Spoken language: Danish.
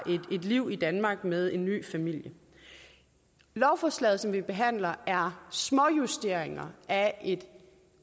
et liv i danmark med en ny familie lovforslaget som vi behandler er småjusteringer af et